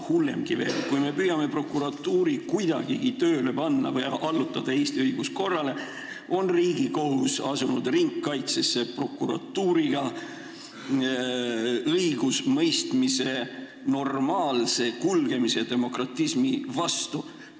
Hullemgi veel, kui me püüame prokuratuuri kuidagigi tööle panna või allutada Eesti õiguskorrale, on Riigikohus asunud koos prokuratuuriga ringkaitsesse õigusemõistmise normaalse kulgemise ja demokratismi vastu.